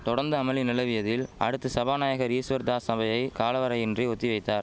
தொடந்து அமளி நிலவியதில் அடுத்து சபாநாயகர் ஈஸ்வர்தாஸ் சபையை காலவரையின்றி ஒத்தி வைத்தார்